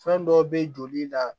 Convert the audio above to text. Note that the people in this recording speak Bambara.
Fɛn dɔ bɛ joli la